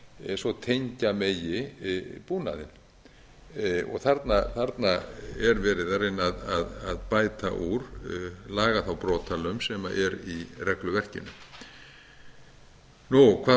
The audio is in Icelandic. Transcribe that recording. eins og tengja megi búnaðinn þarna er verið að reyna að bæta úr laga þá brotalöm sem er í regluverkinu hvað